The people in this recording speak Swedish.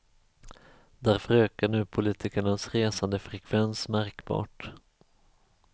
Därför ökar nu politikernas resandefrekvens märkbart.